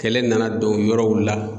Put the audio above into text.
Kɛlɛ nana don yɔrɔw la.